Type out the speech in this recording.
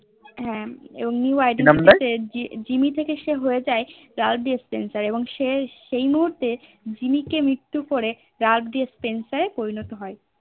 হ্যান এবং New identity যে জিম্মি থেকে সে হয়ে যায় সে সেই মহুর্তে জিম্মি কে মৃত্যু করে রাগ ডিস্পেন্সার এ পরিণত হয়ে